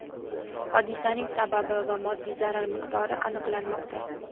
Hodisaning sababi va moddiy zarar miqdori aniqlanmoqda.